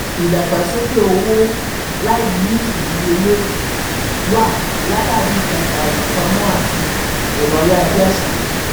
ìdàgbàsókè owó láì ní ìdíyelé wá látàrí ìtajà ìfipamọ́ àti ẹ̀rọ-ayárabíàsá.